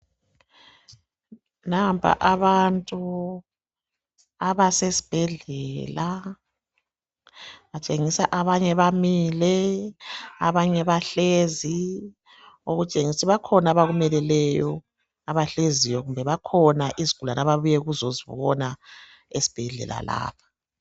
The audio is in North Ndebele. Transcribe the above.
Nampa abantu abasesibhedlela batshengisa abanye bamile abanye bahlezi okutshengisa ukuthi bakhona abakumeleleyo abahleziyo kumbe bakhona izigulane ababuye ukuzosibona esibhedlela lapha.